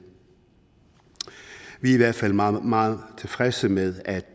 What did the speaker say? vi er i hvert fald meget meget tilfredse med at